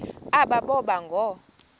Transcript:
aba boba ngoo